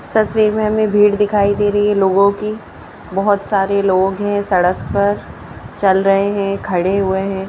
तस्वीर में हमें भीड़ दिखाई दे रही है लोगों की बहोत सारे लोग हैं सड़क पर चल रहे हैं खड़े हुए हैं।